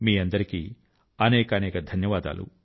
మీకందరికీ అనేకానేక ధన్యవాదాలు